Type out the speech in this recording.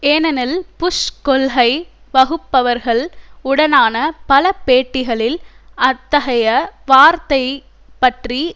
ஏனெனில் புஷ் கொள்கை வகுப்பவர்கள் உடனான பல பேட்டிகளில் அத்தகைய வார்த்தை பற்றி